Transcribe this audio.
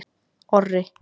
Orri